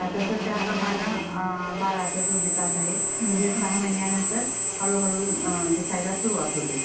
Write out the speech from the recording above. ..तसंच त्याप्रमाणे बाळाचा जो विकास आहे तो या सहा महिन्यानंतर हळू हळू दिसायला सुरूवात होते.